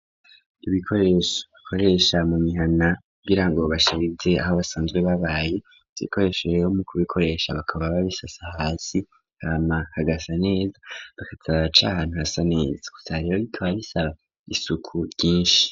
Ibirikoresha bakoresha mu mihana kugirango basharize aho basanzwe babaye, ivyo bikoresho rero mukubikoresha bakaba babisasa hasi hama hagasa neza bakaza baraca ahantu hasa neza gusa rero bikaba bisaba isuku ryinshi.